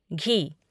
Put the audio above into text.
घी